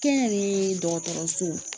Kɛnyɛrɛye dɔgɔtɔrɔso